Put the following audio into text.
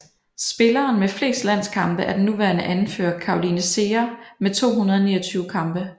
Spilleren med flest landskampe er den nuværende anfører Caroline Seger med 229 kampe